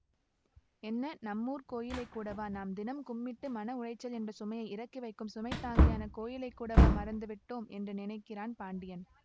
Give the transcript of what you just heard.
என்ன நம்மூர்க் கோயிலை கூடவா நாம் தினம் கும்பிட்டு மன உளைச்சல் என்ற சுமையை இறக்கிவைக்கும் சுமைதாங்கியான கோயிலை கூடவா மறந்துவிட்டோ ம் என்று நினைக்கிறான் பாண்டியன்